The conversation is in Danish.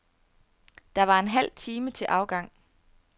Der var en halv time til afgang.